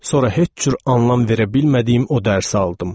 Sonra heç cür anlam verə bilmədiyim o dərsi aldım.